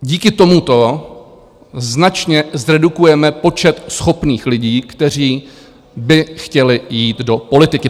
Díky tomuto značně zredukujeme počet schopných lidí, kteří by chtěli jít do politiky.